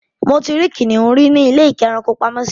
Mo ti rí kìnnìún rí ní ilé-ìkẹ́rankopamọ́sí.